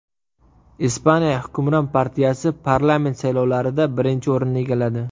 Ispaniya hukmron partiyasi parlament saylovlarida birinchi o‘rinni egalladi.